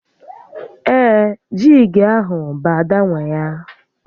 Ee, jíígi ahụ bụ Ada nwé ya